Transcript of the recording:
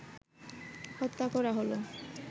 হত্যা করা হলো